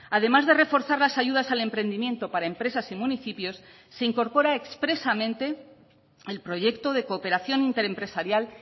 además de reforzar las ayudas al emprendimiento para empresas y municipios se incorpora expresamente el proyecto de cooperación interempresarial